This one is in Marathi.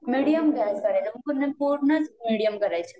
मिडीयम गॅस करायचा पूर्ण फोडणीच मिडीयम करायची